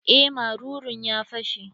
Eh marurun ya fashe.